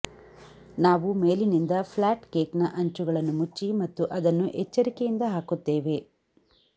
ನಾವು ಮೇಲಿನಿಂದ ಫ್ಲಾಟ್ ಕೇಕ್ನ ಅಂಚುಗಳನ್ನು ಮುಚ್ಚಿ ಮತ್ತು ಅದನ್ನು ಎಚ್ಚರಿಕೆಯಿಂದ ಹಾಕುತ್ತೇವೆ